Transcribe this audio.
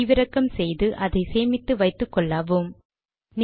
பதிவிறக்கம் செய்து அதை சேமித்து வைத்துக்கொள்ளுங்கள்